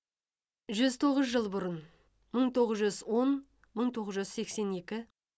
жүз тоғыз жыл бұрын мың тоғыз он мың тоғыз жүз сексен екі